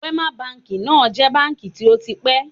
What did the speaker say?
Wema Bank náà jẹ̀ báǹkì tó ti pẹ́